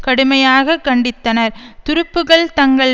கடுமையாக கண்டித்தனர் துருப்புக்கள் தங்கள்